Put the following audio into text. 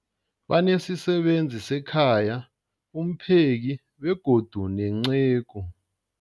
Banesisebenzi sekhaya, umpheki, begodu nenceku.